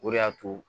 O de y'a to